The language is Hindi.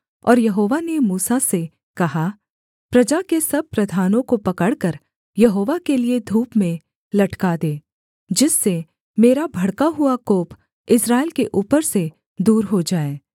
और यहोवा ने मूसा से कहा प्रजा के सब प्रधानों को पकड़कर यहोवा के लिये धूप में लटका दे जिससे मेरा भड़का हुआ कोप इस्राएल के ऊपर से दूर हो जाए